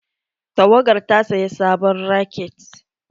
Tawagar ta saya sabon raket.